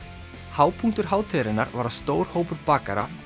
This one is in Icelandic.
hápunktur hátíðarinnar var að stór hópur bakara